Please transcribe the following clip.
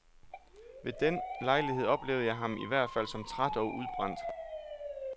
Ved den lejlighed oplevede jeg ham i hvert fald som træt og udbrændt.